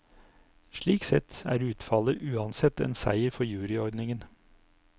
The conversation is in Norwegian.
Slik sett er utfallet uansett en seier for juryordningen.